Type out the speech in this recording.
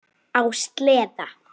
Á sleða.